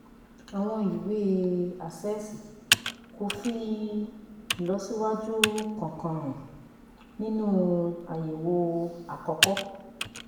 àwọn ìwé àṣẹ̀ṣe kò fi ìlọsíwájú kankan hàn nínú àyẹ̀wò àkọ́kọ́